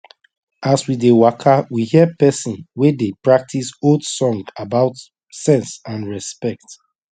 as we dey waka we hear pesin wey dey practice old song about sense and respect